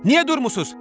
Niyə durmusunuz?